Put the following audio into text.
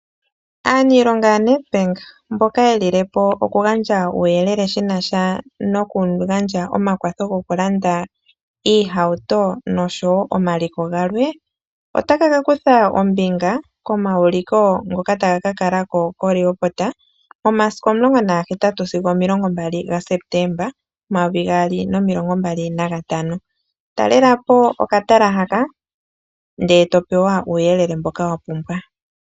Aaniilonga yaNedbank mboka ye lili po okugandja uuyelele shi na sha nokugandja omakwatho gokulanda iihauto noshowo omaliko galwe otaya ka kutha ombinga momauliko ngoka taga ka kala ko koRehoboth momasiku 18 sigo 28 Septemba 2025. Talela po okatala haka, ndele to pewa uuyelele mboka wa pumbwa.